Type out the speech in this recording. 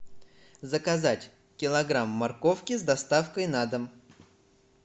заказать килограмм морковки с доставкой на дом